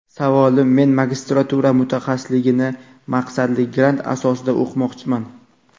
Savolim men magistratura mutaxassisligini maqsadli grant asosida o‘qimoqchiman.